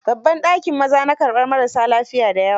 Babban dakin maza na karɓar marassa lafiya da yawa.